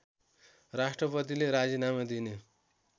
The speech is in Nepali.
राष्‍ट्रपतिले राजिनामा दिने